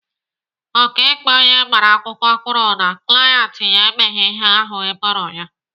Ọkaikpe onye agbara akwụkwọ kwuru na klaint ya emeghị ihe ahụ eboro ya.